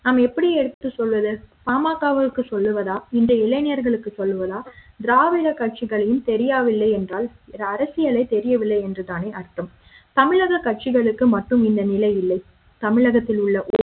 நாம் எப்படி எடுத்து சொல்வது ஆமா பாமக விற்கு சொல்லுவதா இந்த இளைஞர்களுக்கு லோதா திராவிட கட்சிகளின் தெரியவில்லை என்றால் அரசியலை தெரியவில்லை என்று தானே அர்த்தம் தமிழக கட்சிகளுக்கு மட்டும் இந்த நிலை இல்லை தமிழகத்தில் உள்ள ஒரு